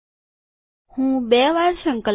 હું બે વાર સંકલન કરીશ